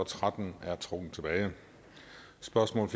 tretten er trukket tilbage spørgsmål